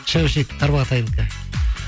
шәушек тарбағатайдікі